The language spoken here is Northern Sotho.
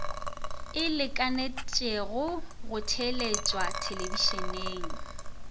e lekalekanego go theeletšwa thelebišeneng